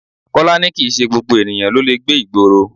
Kọ́lá ni kìí ṣe gbogbo ènìyàn ló lè gbé ìgboro.